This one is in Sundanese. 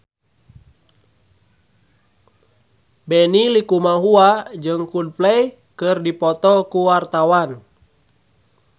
Benny Likumahua jeung Coldplay keur dipoto ku wartawan